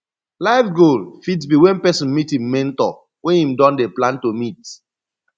life goal fit be when person meet im mentor wey im don dey plan to meet